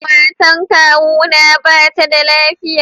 Matan kawu na ba ta da lafiya.